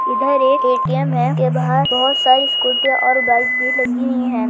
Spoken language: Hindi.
इधर एक ए_टी_एम है के बाहर बोहत सारे स्कूटिया और बाइक्स भी लगी हुई है।